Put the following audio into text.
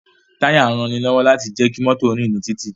Táyà ń ranilọ́wọ́ láti jẹ́ kí mọ́tò ó rìn ní títì